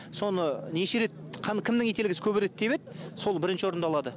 соны неше рет кімнің ителгісі көбірек тебеді сол бірінші орынды алады